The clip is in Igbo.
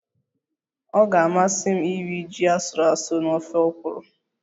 Ọ ga-amasị m iri ji asụrụ asụ na ofe okro